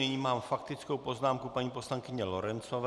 Nyní mám faktickou poznámku paní poslankyně Lorencové.